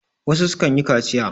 wasu sukan yi kaciya